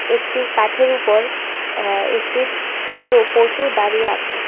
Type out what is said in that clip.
একটি কাঠের উপর অ্যা একটি প্রো পশু দাঁড়িয়ে আছে।